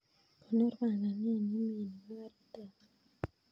Konor panganet nemio nebo karit ap maat